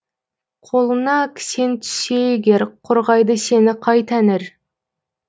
қолыңа кісен түссе егер қорғайды сені қай тәңір